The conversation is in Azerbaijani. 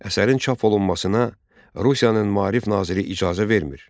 Əsərin çap olunmasına Rusiyanın maarif naziri icazə vermir.